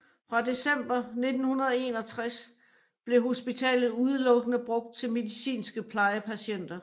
Fra december 1961 blev hospitalet udelukkende brugt til medicinske plejepatienter